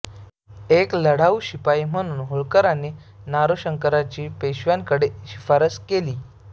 एक लढाऊ शिपाई म्हणून होळकरांनी नारोशंकरांची पेशव्यांकडे शिफारस केली